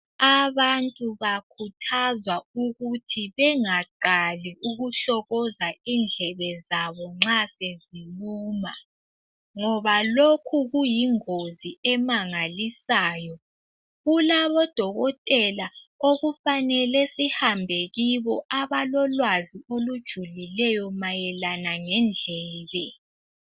Abantu bakhuthazwa ukuthi bengaqali ukuhlokoza indlebe zabo nxa seziluma, ngoba lokhu kuyingozi emangalisayo. Kulabodokotela okufanele sihambe kubo. .l Abalolwazi olujulileyo, mayelana lendlebe